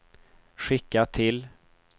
skicka till